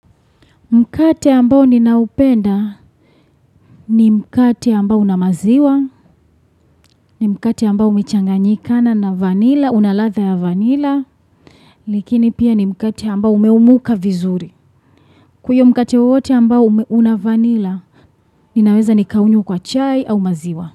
Mkate ambao ninaupenda ni mkate ambao una maziwa, ni mkate ambao umechanganyikana na vanila, una ladha ya vanila, lakini pia ni mkate ambao umeumuka vizuri. Huo mkate wowote ambao una vanila, ninaweza nikanywa kwa chai au maziwa.